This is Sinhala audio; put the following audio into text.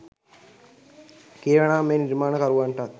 කියනවානම් මේ නිර්මාණ කරුවන්ටත්